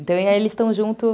Então, aí eles estão juntos.